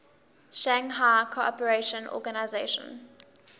shanghai cooperation organization